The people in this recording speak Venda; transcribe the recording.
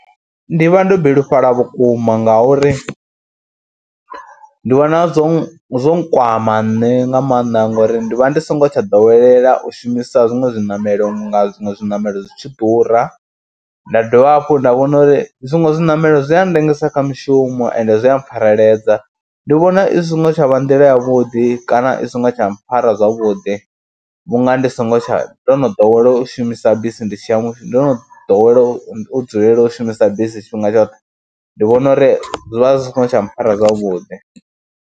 Ndi vha ndo bilufhala vhukuma ngauri ndi vhona zwo zwo nkwama nṋe nga maanḓa ngori ndi vha ndi songo tsha ḓowela u shumisa zwiṅwe zwiṋamelo vhunga zwiṅwe zwiṋamelo zwi tshi ḓura. Nda dovha hafhu nda vhona uri zwiṅwe zwiṋamelo zwi a ndengisa kha mishumo ende zwi a pfareledza, ndi vhona i singo tsha vha nḓila yavhuḓi kana i songo tsha mpfhara zwavhuḓi vhunga ndi songo tsha, ndo no ḓowela u shumisa bisi ndi tshi ya, ndo ḓowela u dzulela u shumisa bisi tshifhinga tshoṱhe, ndi vhona uri zwi vha zwi songo tsha mpfhara zwavhuḓi.